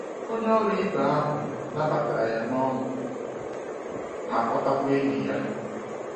Onye ọrụ ibe ahụ nabatara ya n’ọṅụ ma kpọtakwa enyi ya.